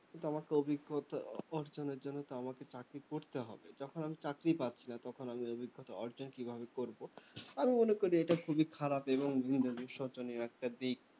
কিন্তু আমারতো অভিজ্ঞতা অর্জনের জন্য তো আমাকে চাকরি করতে হবে যখন আমি চাকরিই পাচ্ছি না তখন আমি আমি অভিজ্ঞতা অর্জন কিভাবে করবো আমি মনে করি এটা খুবই খারাপ এবং নিজেদের শোচনীয় একটা দিক